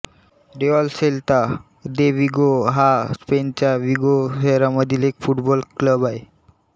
Real club Celta de Vigo हा स्पेनच्या Vigo शहरामधील एक फुटबॉल क्लब आहे